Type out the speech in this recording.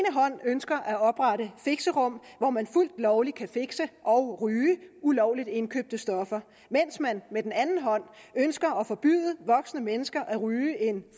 hånd ønsker at oprette fixerum hvor man fuldt lovligt kan fixe og ryge ulovligt indkøbte stoffer mens man med den anden hånd ønsker at forbyde voksne mennesker at ryge en